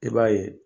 I b'a ye